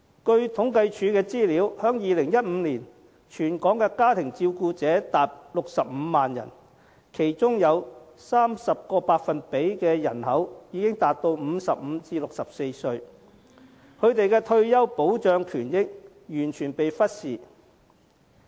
根據政府統計處的資料，在2015年，全港家庭照顧者達65萬人，其中有 30% 的人口已達55至64歲，他們的退休保障權益完全被忽視。